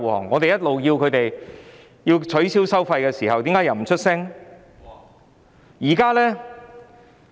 我們一直要求取消收費，但為何他們不發聲呢？